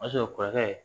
O y'a sɔrɔ kɔrɔkɛ ye